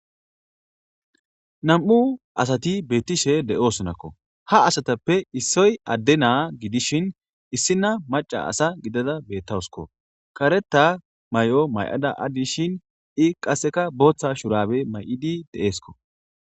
Nam'u asati beettishe de'osonakko ha asatappe issoy adde naa gidishin issina maca asa gidada beettawusko kareta may'o may'ada addishin i qasseka booththa shurabe may'idi de'eesko.